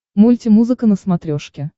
мультимузыка на смотрешке